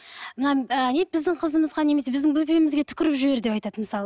мына біздің қызымызға немесе біздің бөпемізге түкіріп жібер деп айтады мысалы